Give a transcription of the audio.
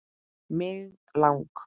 Mig lang